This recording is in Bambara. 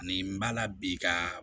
Ani n b'a la bi ka